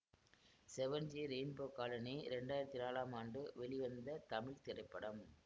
seven G Rainbow Colony இரண்டாயிரத்தி நாலாம் ஆண்டு வெளி வந்த தமிழ் திரைப்படம்